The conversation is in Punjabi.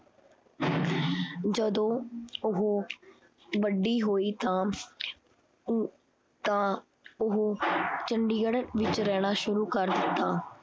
ਜਦੋਂ ਉਹ ਵੱਡੀ ਹੋਈ ਤਾਂ ਉ ਤਾਂ ਉਹ ਚੰਡੀਗੜ੍ਹ ਵਿੱਚ ਰਹਿਣਾ ਸ਼ੁਰੂ ਕਰ ਦਿੱਤਾ